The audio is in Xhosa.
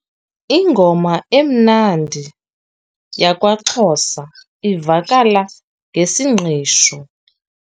Ingoma emnandi yakwaXhosa ivakala ngesingqisho.